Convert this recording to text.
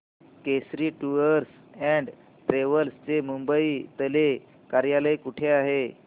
Kesari tours and travels चे मुंबई तले कार्यालय कुठे आहे